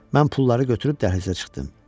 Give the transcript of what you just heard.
Mən pulları götürüb dəhlizə çıxdım.